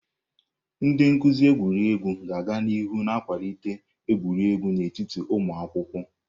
Ndị nkuzi egwuregwu ga-aga n'ihu na-akwalite egwuregwu n'etiti ụmụ akwụkwọ.